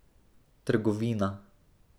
Trgovina.